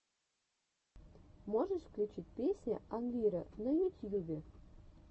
можешь включить песня анвира на ютьюбе